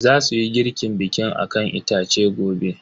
Zasuyi girkin bikin akan itace gobe.